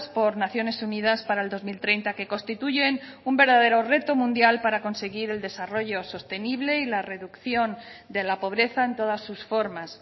por naciones unidas para el dos mil treinta que constituyen un verdadero reto mundial para conseguir el desarrollo sostenible y la reducción de la pobreza en todas sus formas